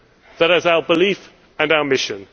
That is our belief and our mission.